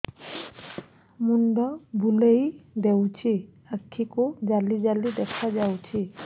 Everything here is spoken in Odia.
ମୁଣ୍ଡ ବୁଲେଇ ଦେଉଛି ଆଖି କୁ ଜାଲି ଜାଲି ଦେଖା ଯାଉଛି